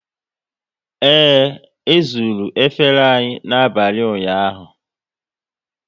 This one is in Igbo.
Ee, e zuru efere anyị n'abalị ụnyaahụ